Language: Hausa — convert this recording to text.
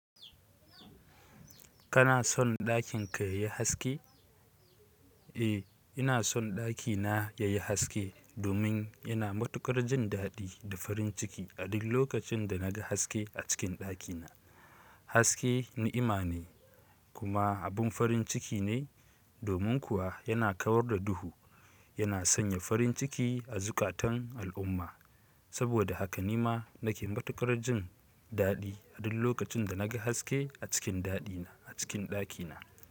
Kana son ɗakin ka ya yi haske? Eh, ina son ɗakina ya yi haske domin ina matukar jin daɗi da farin ciki a duk lokacin da naga haske a cikin ɗakina. Haske ni'ima ne kuma abun farin ciki ne, domin kuwa yana kawar da duhu, yana sanya farin ciki a zukatan al'umma. Saboda haka ni ma nake matukar jin daɗi a duk lokacin da naga haske a cikin daɗina a cikin ɗakina.